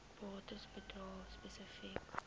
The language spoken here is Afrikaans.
bates bedrae spesifiek